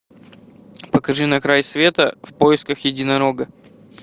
покажи на край света в поисках единорога